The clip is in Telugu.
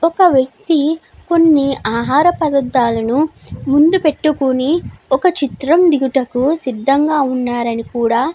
ఒక వ్యక్తి కొన్ని ఆహార పదార్ధాలను దగ్గర పెట్టుకుని ఒక చిత్రము దిగుటకు సిద్దాముగా ఉన్నారని కూడా --